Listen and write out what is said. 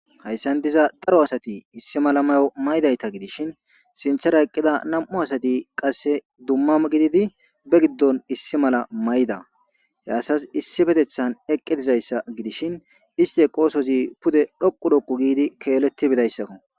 Hayssa diza daro asati issi mala mayo mayidayta gidishin, sinththera eqqida nam'u asati qasse dumma gididi be giddon issi mala mayida. He asazi issippetiththan eqqi dizayssa gidishin isti eqqosozi pude dhoqqu dhoqqu giidi keeletti bidayssako.